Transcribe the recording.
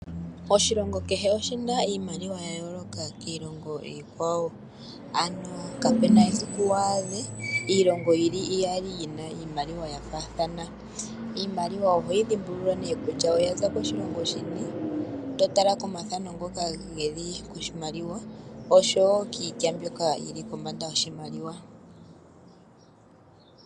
Oshilongo kehe oshi na iimaliwa ya yooloka kiilongo iikwawo. Kapu na esiku wu adhe iilonga iyali yi na iimaliwa ya faathana. Iimaliwa oho yi dhimbulula ne kutya oya za koshilongo shini to tala komathano ngoka ge li koshimaliwa oshowo kiitya mbyoka yi li kombanda yoshimaliwa.